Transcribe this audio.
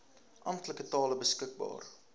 amptelike tale beskikbaar